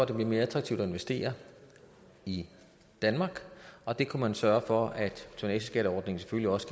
det bliver mere attraktivt at investere i danmark og det kunne man sørge for ved at tonnageskatteordningen selvfølgelig også